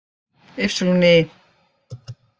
Y